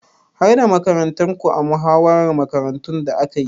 Har da makarantarku a muhawarar makarantun da aka yi?